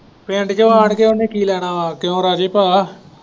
ਪਿੰਡ ਚ ਆਉਣ ਕੇ ਉਹਨੇ ਕੀ ਲੈਣਾ ਹੈ ਕਿਉਂ ਰਾਜੇ ਭਾ।